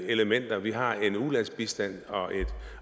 elementer vi har en ulandsbistand